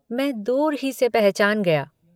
मैं दूर ही से पहचान गया।